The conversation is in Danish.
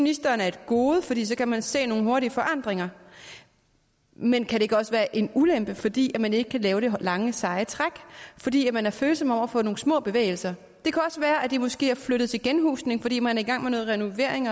ministeren er et gode fordi så kan man se nogle hurtige forandringer men kan det ikke også være en ulempe fordi man ikke kan lave det lange seje træk fordi man er følsom over for nogle små bevægelser det kan også være at de måske er flyttet til genhusning fordi man er i gang med noget renovering